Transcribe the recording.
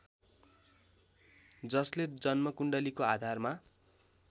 जसले जन्म कुण्डलीको आधारमा